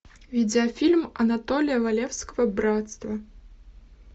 видеофильм анатолия валевского братство